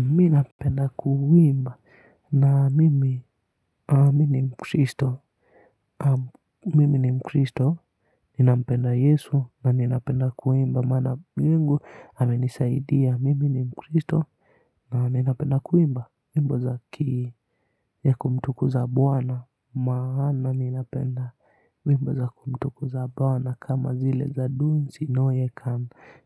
Mi napenda kuimba na mimi ni mkristo, mimi ni mkristo, ninampenda Yesu na ninapenda kuimba, maana Mungu amenisaidia, mimi ni mkristo na ninapenda kuimba wimbo za kii ya kumtukuza bwana maana ninapenda wimbo za kumtukuza bawa na kama zile za dunzi noye